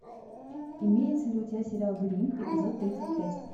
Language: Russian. имеется ли у тебя сериал грим эпизод тридцать пять